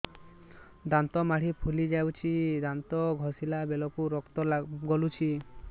ଦାନ୍ତ ମାଢ଼ୀ ଫୁଲି ଯାଉଛି ଦାନ୍ତ ଘଷିଲା ବେଳକୁ ରକ୍ତ ଗଳୁଛି